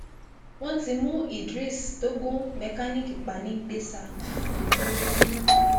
wọn ti mú idris tó gun mẹkáníìkì pa nìgbésa